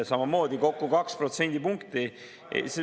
Samamoodi kokku kaks protsendipunkti.